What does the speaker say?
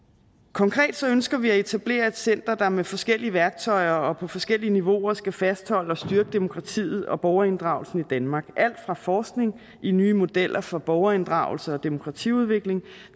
konkret ønsker vi at etablere et center der med forskellige værktøjer og på forskellige niveauer skal fastholde og styrke demokratiet og borgerinddragelsen i danmark med alt fra forskning i nye modeller for borgerinddragelse og demokratiudvikling